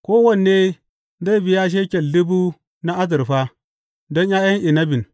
Kowanne zai biya shekel dubu na azurfa don ’ya’yan inabin.